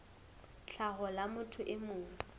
tlhaho la motho e mong